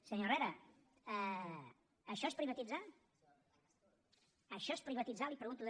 senyor herrera això és privatitzar això és privatitzar li ho pregunto